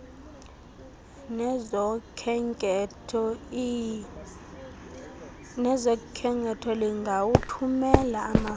nezokhenketho lingawathumela amafama